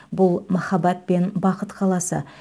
бұл махаббат пен бақыт қаласы